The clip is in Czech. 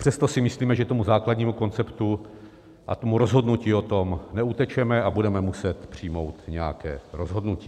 Přesto si myslíme, že tomu základnímu konceptu a tomu rozhodnutí o tom neutečeme a budeme muset přijmout nějaké rozhodnutí.